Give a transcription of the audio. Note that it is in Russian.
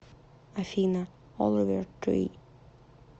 афина оливер три